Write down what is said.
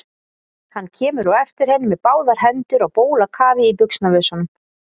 Hann kemur á eftir henni með báðar hendur á bólakafi í buxnavösunum.